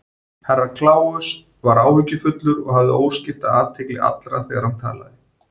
Herra Kláus var áhyggjufullur og hafði óskipta athygli allra þegar hann talaði.